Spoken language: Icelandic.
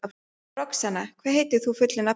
Roxanna, hvað heitir þú fullu nafni?